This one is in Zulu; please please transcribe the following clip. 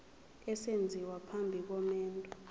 esenziwa phambi komendo